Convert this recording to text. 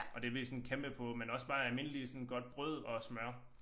Og det ved jeg sådan kæmpe på men også bare almindelig sådan godt brød og smør